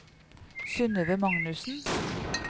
Synøve Magnussen